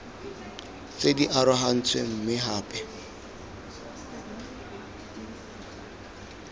tse di arogantsweng mme gape